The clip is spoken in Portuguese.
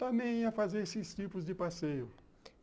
Também ia fazer esses tipos de passeio.